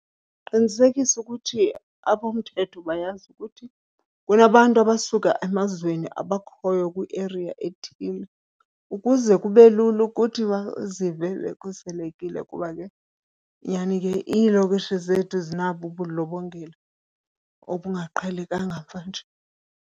Qinisekisa ukuthi abomthetho bayazi ukuthi kunabantu abasuka emazweni abakhoyo kwieriya ethile ukuze kube lula ukuthi bazive bekhuselekile, kuba ke nyhani ke iilokishi zethu zinabo ubundlobongela obungaqhelekanga mvanje.